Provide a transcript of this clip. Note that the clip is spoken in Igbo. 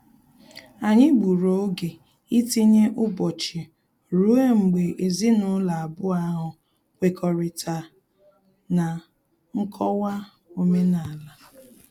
Anyị gburu oge itinye ụbọchị rue mgbe ezinụlọ abụọ ahụ kwekọrịta na nkọwa omenala